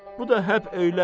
Bu da həb elə.